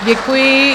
Děkuji.